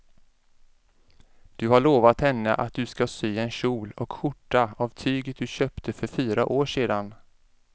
Du har lovat henne att du ska sy en kjol och skjorta av tyget du köpte för fyra år sedan.